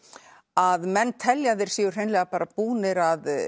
að menn telja að þeir séu hreinlega bara búnir að